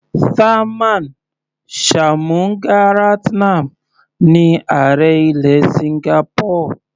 Tharman Shanmugaratnam ní ààrẹ ilẹ̀ Singapore.